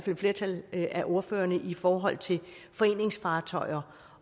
et flertal af ordførerne i forhold til foreningsfartøjer